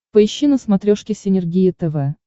поищи на смотрешке синергия тв